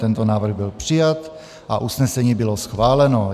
Tento návrh byl přijat a usnesení bylo schváleno.